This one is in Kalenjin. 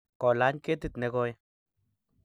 kolany ketit nekoi